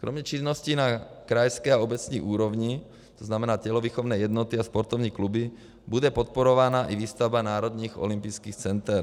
Kromě činnosti na krajské a obecní úrovni, to znamená tělovýchovné jednoty a sportovní kluby, bude podporována i výstavba národních olympijských center.